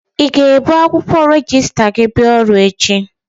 I ga-ebu akwụkwọ rejista gi bịa ọrụ echi?